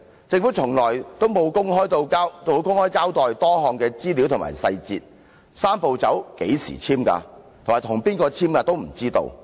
政府從沒有公開交代多項資料及細節，我們對"三步走"是何時簽署、與誰簽署也不知道。